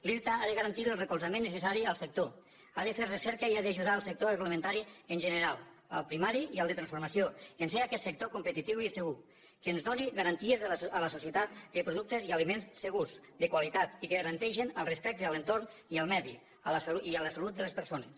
l’irta ha de garantir el recolzament necessari al sector ha de fer recerca i ha d’ajudar el sector agroalimentari en general el primari i el de transformació i a fer aquest sector competitiu i segur que ens doni garanties a la societat de productes i aliments segurs de qualitat i que garanteixen el respecte a l’entorn i al medi i a la salut de les persones